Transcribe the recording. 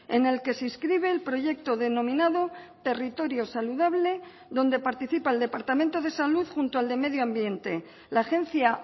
en el que se inscribe el proyecto denominado territorio saludable donde participa el departamento de salud junto al de medio ambiente la agencia